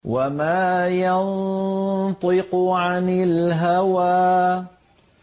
وَمَا يَنطِقُ عَنِ الْهَوَىٰ